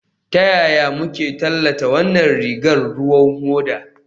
Ta yaya muke tallata wannan rigar ruwan hoda?